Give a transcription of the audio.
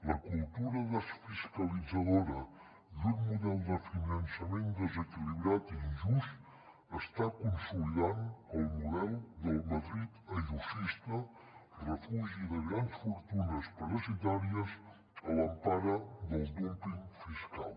la cultura desfiscalitzadora i un model de finançament desequilibrat i injust està consolidant el model del madrid ayusista refugi de grans fortunes parasitàries a l’empara del dúmping fiscal